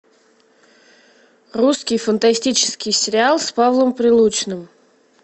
русский фантастический сериал с павлом прилучным